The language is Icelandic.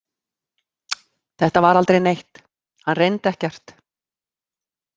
Þetta var aldrei neitt, hann reyndi ekkert.